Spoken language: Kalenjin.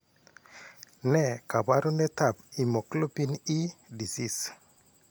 Ne kaabarunetap hemoglobin E disease?